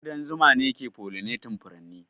Ƙudan zuma ne yake pollinating furanni.